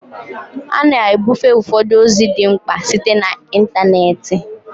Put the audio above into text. A na-ebufe ụfọdụ ozi dị mkpa site na ịntanetị